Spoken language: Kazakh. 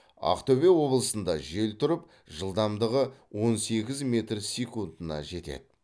ақтөбе облысында жел тұрып жылдамдығы он сегіз метр секунтына жетеді